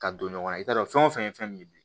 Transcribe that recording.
Ka don ɲɔgɔn na i t'a dɔn fɛn o fɛn ye fɛn ye bi